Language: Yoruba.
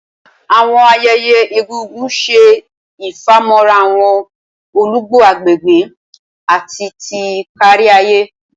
Awọn ayẹyẹ egungun ṣe ifamọra awọn olugbo agbegbe ati ti kariaye.